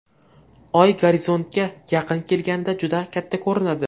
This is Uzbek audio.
Oy gorizontga yaqin kelganida juda katta ko‘rinadi.